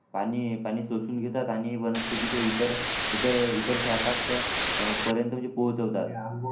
पाणी पाणी शोषून घेतात आणि वनस्पतीच्या इतर इतर इतर शाखा पर्यंत म्हणजे पोचवतात